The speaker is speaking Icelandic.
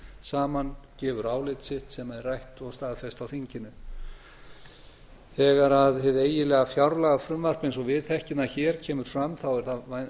saman gefur álit sitt sem er rætt og staðfest á þinginu þegar hið eiginlega fjárlagafrumvarp einn og við þekkjum það hér kemur fram er það